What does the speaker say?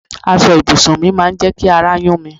Aṣọ ibùsùn mi máa ń jẹ ki àrà yun mí